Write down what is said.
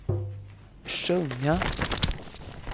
sjunga